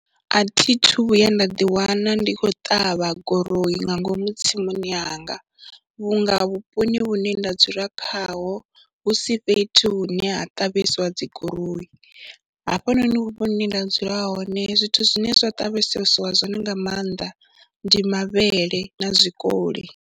A thi thu vhuya nda ḓiwana ndi khou ṱavha guroyi nga ngomu tsimuni yanga vhunga vhuponi hune nda dzula khaho hu si fhethu nṋe ha ṱavheswa dzi goroyi, hafhanoni hune nda dzula hone zwithu zwine zwa ṱavhesseiwa zwone nga maanḓa ndi mavhele na zwikoli.